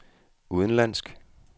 udenlandsk